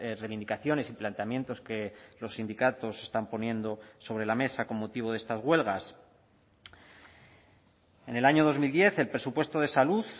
reivindicaciones y planteamientos que los sindicatos están poniendo sobre la mesa con motivo de estas huelgas en el año dos mil diez el presupuesto de salud